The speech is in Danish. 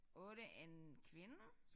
8 en kvinde